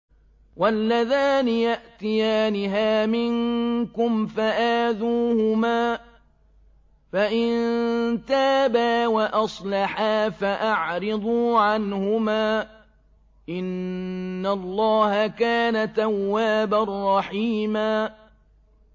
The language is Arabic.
وَاللَّذَانِ يَأْتِيَانِهَا مِنكُمْ فَآذُوهُمَا ۖ فَإِن تَابَا وَأَصْلَحَا فَأَعْرِضُوا عَنْهُمَا ۗ إِنَّ اللَّهَ كَانَ تَوَّابًا رَّحِيمًا